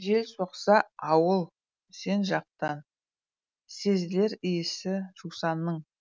жел соқса ауыл сен жақтан сезілер иісі жусанның